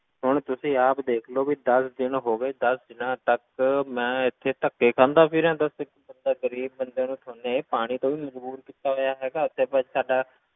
ਹੁਣ ਤੁਸੀਂ ਆਪ ਦੇਖ ਲਓ ਵੀ ਦਸ ਦਿਨ ਹੋ ਗਏ, ਦਸ ਦਿਨਾਂ ਤੱਕ ਮੈਂ ਇੱਥੇ ਧੱਕੇ ਖਾਂਦਾ ਫਿਰਾਂ ਦੱਸ, ਮਤਲਬ ਗ਼ਰੀਬ ਬੰਦੇ ਨੂੰ ਤੁਸੀਂ ਪਾਣੀ ਤੋਂ ਵੀ ਮਜ਼ਬੂਰ ਕੀਤਾ ਹੋਇਆ ਹੈਗਾ ਇੱਥੇ ਭਾਈ ਸਾਡਾ